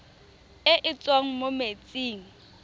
e e tswang mo metsing